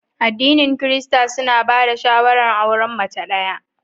Aɗinin kirista suna ba da shawara auren mace ɗaya.